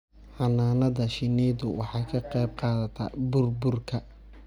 Xannaanada shinnidu waxay ka qayb qaadataa burburka